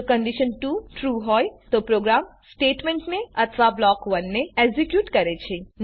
જો condition ૨ true હોય તો પ્રોગ્રામ સ્ટેટમેંટને અથવા બ્લોક ૧ ને એક્ઝેક્યુટ કરે છે